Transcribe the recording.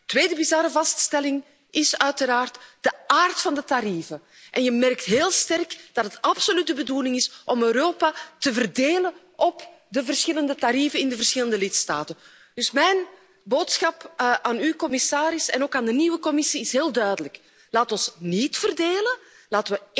De tweede bizarre vaststelling is uiteraard de aard van de tarieven het is goed te merken dat het absoluut de bedoeling is om Europa te verdelen op de verschillende tarieven in de verschillende lidstaten. Mijn boodschap aan u, commissaris, en ook aan de nieuwe Commissie is dus heel duidelijk laten we niet verdeeld raken.